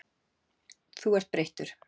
Þú ert breyttur.